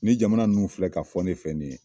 Nin jamana ninnu filɛ ka fɔ ne fɛ nin ye